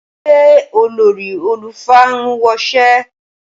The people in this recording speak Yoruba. Ṣé olórí àlùfáà ń woṣẹ́?